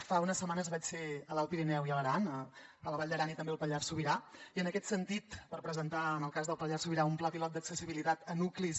fa unes setmanes vaig ser a l’alt pirineu i a l’aran a la vall d’aran i també al pallars sobirà per presentar en el cas del pallars sobirà un pla pilot d’accessibilitat a nuclis